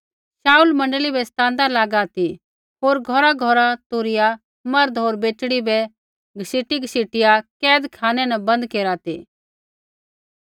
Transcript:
शाऊल मण्डली बै सतांदा लागा ती होर घौरघौर घुसिआ मर्द होर बेटड़ी बै घसीटीघसीटिआ कैदखानै न बन्द केरा ती